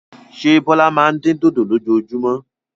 Ṣé Bọ́lá máa ń dín dòdò lójoojúmọ́?